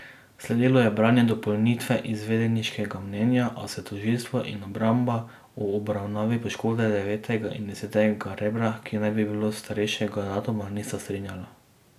Sledilo je branje dopolnitve izvedeniškega mnenja, a se tožilstvo in obramba ob obravnavi poškodbe devetega in desetega rebra, ki naj bi bile starejšega datuma, nista strinjala.